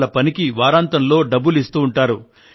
వాళ్ళ పనికి వారాంతంలో డబ్బులు ఇస్తూ ఉంటారు